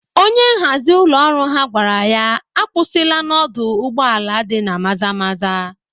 Onye nhazi ụlọ ọrụ ha gwara ya agwụsịla n'ọdụ ụgbọ ala dị na Maza Maza.!